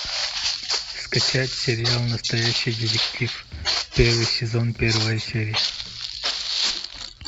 скачать сериал настоящий детектив первый сезон первая серия